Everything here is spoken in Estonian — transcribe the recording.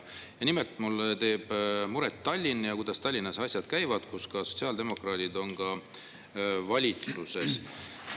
Ja nimelt, mulle teeb muret Tallinn ja see, kuidas Tallinna valitsuses, kus ka sotsiaaldemokraadid on, asjad käivad.